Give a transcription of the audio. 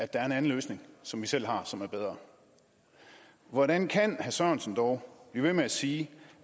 der er en anden løsning som vi selv har som er bedre hvordan kan herre sørensen dog blive ved med at sige